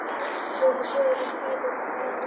Búa til sögu- lesa bækur- læra að lesa